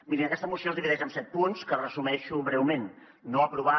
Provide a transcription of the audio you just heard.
mirin aquesta moció es divideix en set punts que resumeixo breument no aprovar